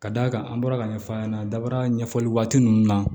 Ka d'a kan an bɔra ka ɲɛfɔ a ɲɛna daba ɲɛfɔli waati ninnu na